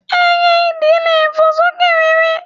Ẹyẹ idì le fò lókè réré.